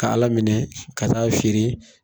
Ka ala minɛ ka taa feere